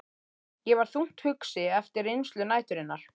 Ég var þungt hugsi eftir reynslu næturinnar.